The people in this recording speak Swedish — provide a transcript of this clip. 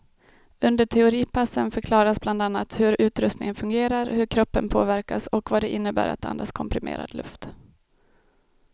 Under teoripassen förklaras bland annat hur utrustningen fungerar, hur kroppen påverkas och vad det innebär att andas komprimerad luft.